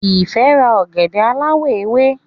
Ife rà ògèdè aláwò ewé